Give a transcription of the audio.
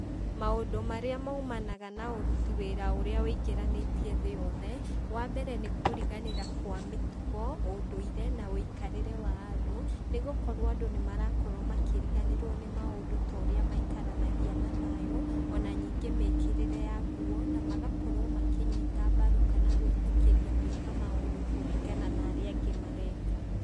Maũndũ marĩa maumanaga na ũruti wĩra ũrĩa ũingĩranĩtie thĩ yothe, wa mbere nĩkũriganĩra kwa mĩtugo, ũndũire na ũikarĩre wa andũ, nĩgũkorwo andũ nĩmarakorwo makĩriganĩrwo nĩ maũndũ ta ũrĩa maikaranagia na thayũ, o na ningĩ mĩkĩrĩre ya nguo, namagakorwo makĩnyita mbaru, kana gwĩtĩkĩria gwĩka maũndũ kũringana na arĩa angĩ mareka.